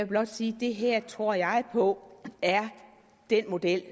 blot sige at det her tror jeg på er den model